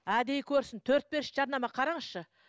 әдейі көрсін төрт бес жарнама қараңызшы